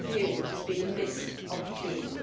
This review has been a missed opportunity.